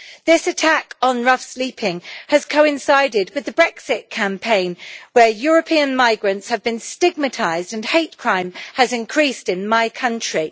This attack on rough sleeping has coincided with the Brexit campaign where European migrants have been stigmatised and hate crime has increased in my country.